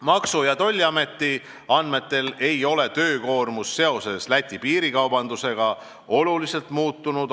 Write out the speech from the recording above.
Maksu- ja Tolliameti andmetel ei ole töökoormus seoses Läti piiril toimuva piirikaubandusega oluliselt muutunud.